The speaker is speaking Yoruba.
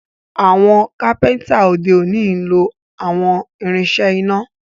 Àwọn kápẹ́ńtà òde òni nlọ àwọn irinṣẹ́ iná